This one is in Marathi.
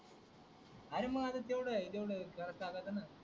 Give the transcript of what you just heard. अरे म आता तेवढ आहे तेवढ चालातना